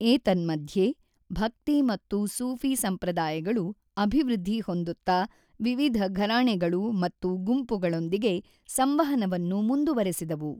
ಏತನ್ಮಧ್ಯೆ, ಭಕ್ತಿ ಮತ್ತು ಸೂಫಿ ಸಂಪ್ರದಾಯಗಳು ಅಭಿವೃದ್ಧಿ ಹೊಂದುತ್ತಾ ವಿವಿಧ ಘರಾಣೆಗಳು ಹಾಗೂ ಗುಂಪುಗಳೊಂದಿಗೆ ಸಂವಹನವನ್ನು ಮುಂದುವರೆಸಿದವು.